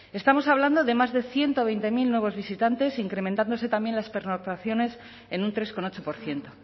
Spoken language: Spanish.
estamos hablando de más de ciento veinte mil nuevos visitantes incrementándose también las pernoctaciones en un tres coma ocho por ciento